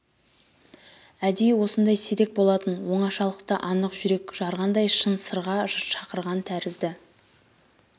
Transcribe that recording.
әдейі осындай сирек болатын оңашалықта анық жүрек жарғандай шын сырға шақырған тәрізді